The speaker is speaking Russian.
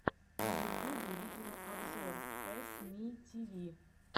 на ютубе видеообзор пэссмитиви